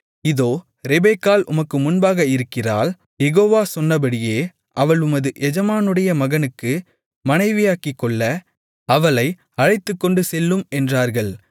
இதோ ரெபெக்காள் உமக்கு முன்பாக இருக்கிறாள் யெகோவா சொன்னபடியே அவள் உமது எஜமானுடைய மகனுக்கு மனைவியாக்கிக்கொள்ள அவளை அழைத்துக்கொண்டுசெல்லும் என்றார்கள்